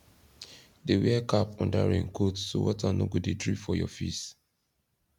dey wear cap under raincoat so water no go dey drip for your face